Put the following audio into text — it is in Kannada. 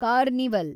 ಕಾರ್ನಿವಲ್